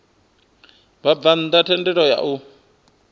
vhabvann ḓa thendelo ya u